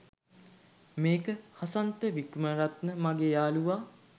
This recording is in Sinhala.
මේක “හසන්ත වික්‍රමරත්න” මගේ යාලුවා